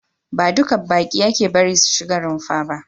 Ba duka baƙi ake bari su shiga runfa ba.